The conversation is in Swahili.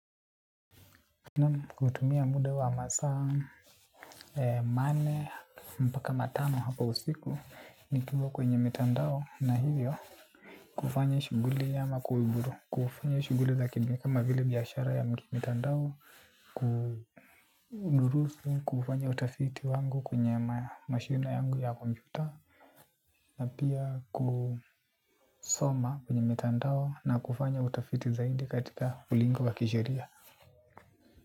Na kutumia muda wa masaa, manne, mpaka matano hapo usiku. Nikiwa kwenye mitandao na hivyo kufanya shughuli ya makuiburu. Kufanya shuguli za kilimi kama vile biashara ya mitandao. Kudurusu, kufanya utafiti wangu kwenye mashine yangu ya kompyuta. Na pia kusoma kwenye mitandao na kufanya utafiti zaidi katika ulingo wa kisheria.